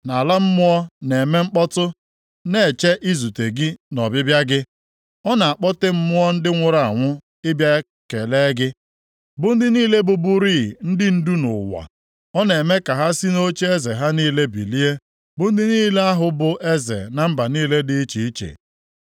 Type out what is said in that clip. Ala mmụọ na-eme mkpọtụ, na-eche izute gị nʼọbịbịa gị; ọ na-akpọte mmụọ nke ndị nwụrụ anwụ ịbịa kelee gị, bụ ndị niile bụburịị ndị ndu nʼụwa, ọ na-eme ka ha si nʼocheeze ha niile bilie bụ ndị niile ahụ bụ eze na mba niile dị iche iche.